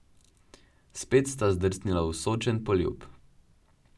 Spet sta zdrsnila v sočen poljub.